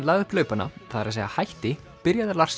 lagði upp laupana það er að segja hætti byrjaði